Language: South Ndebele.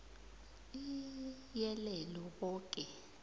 iii iyelele boke